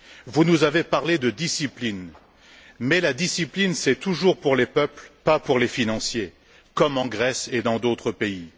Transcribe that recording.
Vous nous avez parlé de discipline, mais la discipline c'est toujours pour les peuples, pas pour les financiers, comme en Grèce et dans d'autres pays.